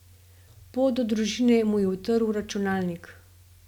Pot do družine mu je utrl računalnik.